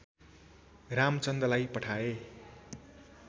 रामचन्दलाई पठाए